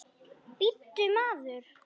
Bíddu, maður.